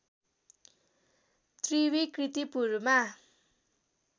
त्रिवि कीर्तिपुरमा